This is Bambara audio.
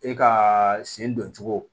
E ka sen don cogo